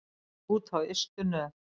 Út á ystu nöf.